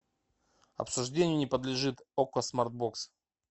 обсуждению не подлежит окко смарт бокс